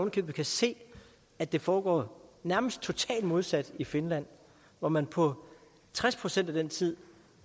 i købet se at det foregår nærmest totalt modsat i finland hvor man på tres procent af den tid